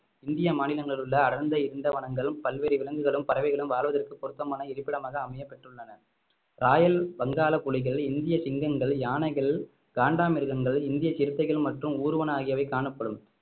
இந்திய மாநிலங்களில் உள்ள அடர்ந்த இருண்ட வனங்களும் பல்வேறு விலங்குகளும் பறவைகளும் வாழ்வதற்கு பொருத்தமான இருப்பிடமாக அமையப் பெற்றுள்ளன ராயல் வங்காளப் புலிகள் இந்திய சிங்கங்கள் யானைகள் காண்டாமிருகங்கள் இந்திய சிறுத்தைகள் மற்றும் ஊர்வன ஆகியவை காணப்படும்